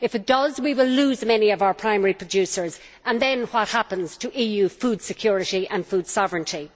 If it does, we will lose many of our primary producers, and then what happens to EU food security and food sovereignty?